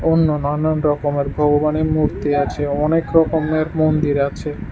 অন্য নানান রকমের ভগবানের মূর্তি আছে অনেক রকমের মন্দির আছে।